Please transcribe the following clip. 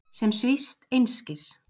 Sem svífst einskis.